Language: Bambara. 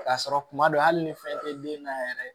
K'a sɔrɔ kuma dɔ hali ni fɛn tɛ den na yɛrɛ